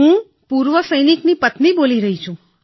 હું પૂર્વ સૈનિકની પત્ની બોલી રહી છું